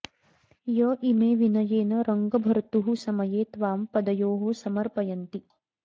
य इमे विनयेन रङ्गभर्तुः समये त्वां पदयोः समर्पयन्ति